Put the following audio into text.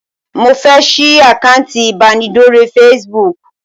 Mo fẹ́ sì àkántì ibanidọ̀rẹ́ Facebook.